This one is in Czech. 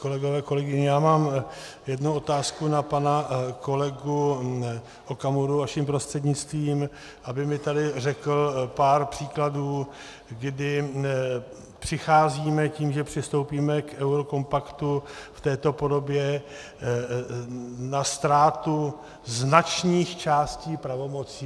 Kolegyně, kolegové, já mám jednu otázku na pana kolegu Okamuru vaším prostřednictvím, aby mi tady řekl pár příkladů, kdy přicházíme tím, že přistoupíme k eurokompaktu v této podobě, na ztrátu značných částí pravomocí.